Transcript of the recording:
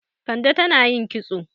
Kande tan ayin kitso.